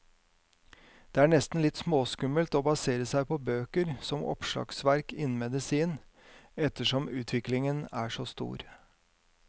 Det er nesten litt småskummelt å basere seg på bøker som oppslagsverk innen medisin, ettersom utviklingen er så stor.